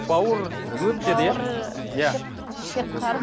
бауыр өт деді ішек шекқарын